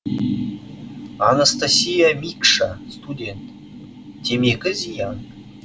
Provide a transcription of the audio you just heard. анастасия микша студент темекі зиян